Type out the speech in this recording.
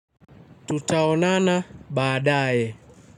Tutaonana baadae.